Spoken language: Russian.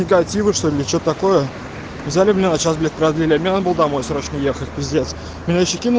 негатива что ли или че то такое взяли мне на час блять продлили а мне надо было домой срочно ехать пиздец меня ещё кину